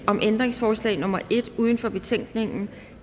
om ændringsforslag nummer en uden for betænkningen